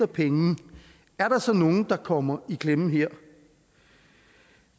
penge er der så nogen der kommer i klemme her